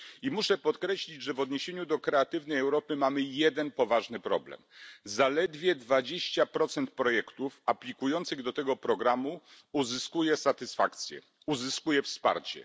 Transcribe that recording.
I muszę podkreślić, że w odniesieniu do Kreatywnej Europy mamy jeden poważny problem Zaledwie 20 projektów aplikujących do tego programu uzyskuje satysfakcję, uzyskuje wsparcie.